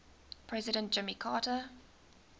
president jimmy carter